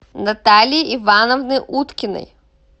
натальи ивановны уткиной